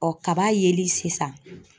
kaba yeli sisan.